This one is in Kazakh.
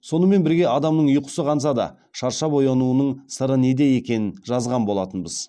сонымен бірге адамның ұйқысы қанса да шаршап оянуының сыры неде екенін жазған болатынбыз